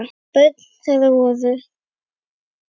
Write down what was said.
Börn þeirra voru